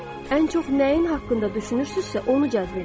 Ən çox nəyin haqqında düşünürsünüzsə, onu cəzb edirsiz.